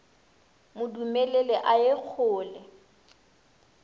mo dumelele a ye kgole